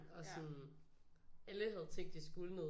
Og sådan alle havde tænkt at de skulle noget